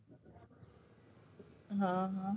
હ હ